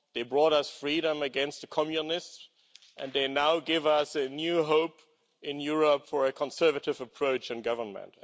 They brought us freedom against the communists and they now give us a new hope in Europe for a conservative approach in government.